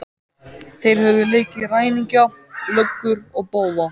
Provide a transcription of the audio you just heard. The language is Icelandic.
Þeir höfðu leikið ræningja, löggur og bófa.